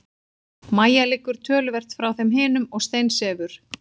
Mæja liggur töluvert frá þeim hinum og steinsefur.